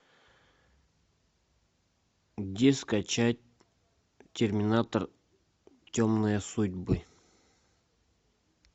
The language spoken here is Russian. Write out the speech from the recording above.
где скачать терминатор темные судьбы